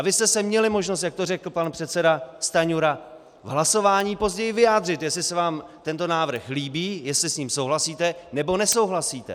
A vy jste se měli možnost, jak to řekl pan předseda Stanjura, v hlasování později vyjádřit, jestli se vám tento návrh líbí, jestli s ním souhlasíte, nebo nesouhlasíte.